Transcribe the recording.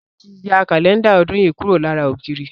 Sade tí ya Kálẹ́ndà ọdún yìí kúrò lára ògiri